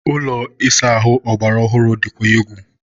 ụlọ ịsa ahụ ọgbara ọhụrụ dịkwa egwu